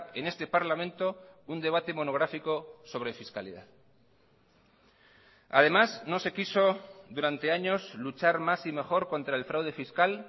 en este parlamento un debate monográfico sobre fiscalidad además no se quiso durante años luchar más y mejor contra el fraude fiscal